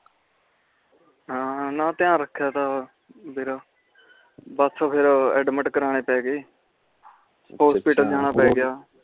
ਹਨ ਧਯਾਨ ਰਖਿਆ ਤਾ ਸੀ ਬਸ ਫਿਰ admit ਕਰਨੇ ਪੈ ਗਏ ਹੌਸਪੀਟਲ ਜਾਣਾ ਪੈ ਗਿਆ